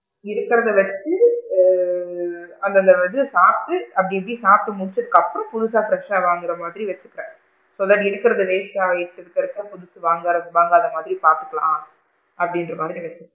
இருக்கிறது வச்சு ஆ அந்த அந்த இது சாப்பிட்டு அப்படி இப்படி சாப்ட்டு முடிச்சதுக்கு அப்பறம் புதுசா fresh சா வாங்குற மாதிரி எடுத்துப்பேன் so இருக்கிறது waste டா ஆயிடுச்சு இருக்க இருக்க புதுசு வாங்குற வாங்காத மாதிரி பாத்துக்கலாம் அப்படின்க்ரமாதிரி.